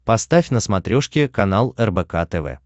поставь на смотрешке канал рбк тв